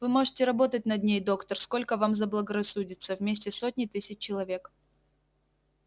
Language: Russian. вы можете работать над ней доктор сколько вам заблагорассудится вместе с сотней тысяч человек